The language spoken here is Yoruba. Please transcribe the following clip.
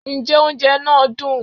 njẹ oúnjẹ naa dún